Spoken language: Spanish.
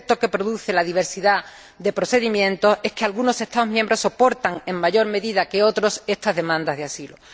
El efecto que produce la diversidad de procedimientos es que algunos Estados miembros soportan en mayor medida que otros estas demanda de asilo.